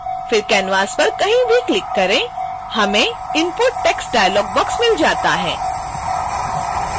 फिर canvas पर कहीं भी क्लिक करें हमें input text डायलाग बॉक्स मिल जाता है